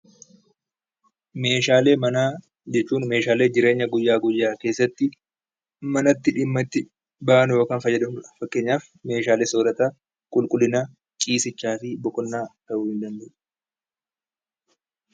Meeshaalee manaa jechuun meeshaalee jireenya guyyaa guyyaa keessatti manatti dhimma itti baanu yookaan fayyadamnudha. Fakkeenyaaf meeshaalee soorataa, qulqullinaa, ciisichaa fi boqonnaa ta'uu ni danda'a.